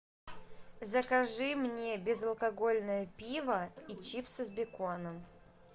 закажи мне безалкогольное пиво и чипсы с беконом